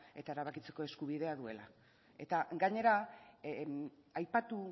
eta erabakitzeko eskubidea duela eta gainera aipatu